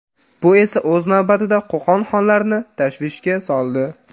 Bu esa o‘z navbatida Qo‘qon xonlarini tashvishga soldi.